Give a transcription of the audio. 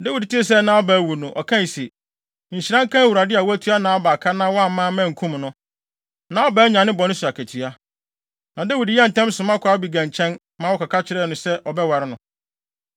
Dawid tee sɛ Nabal awu no, ɔkae se, “Nhyira nka Awurade a watua Nabal ka na wamma mankum no. Nabal anya ne bɔne so akatua.” Na Dawid yɛɛ ntɛm soma kɔɔ Abigail nkyɛn, ma wɔkɔka kyerɛɛ no se ɔbɛware no.